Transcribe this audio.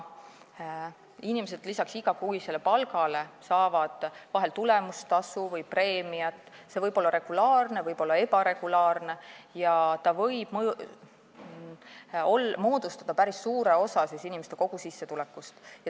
Inimesed saavad lisaks igakuisele palgale vahel tulemustasu või preemiat, see võib olla regulaarne, võib olla ebaregulaarne ja ta võib moodustada päris suure osa inimeste kogusissetulekust.